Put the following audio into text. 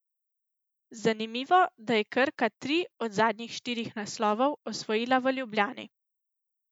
Zanimivo, da je Krka tri od zadnjih štirih naslovov osvojila v Ljubljani.